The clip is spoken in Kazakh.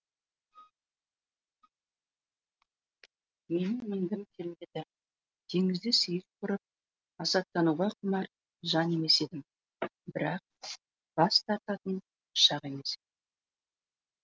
менің мінгім келмеді теңізде сейіл құрып масаттануға құмар жан емес едім бірақ бас тартатын шақ емес еді